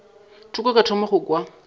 thoko ka thoma go kwa